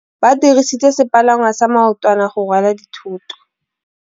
Ba dirisitse sepalangwasa maotwana go rwala dithôtô.